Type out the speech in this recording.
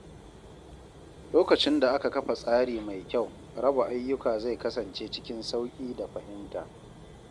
Lokacin da aka kafa tsari mai kyau, raba ayyuka zai kasance cikin sauƙi da fahimta.